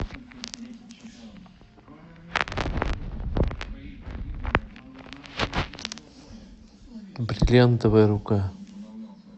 бриллиантовая рука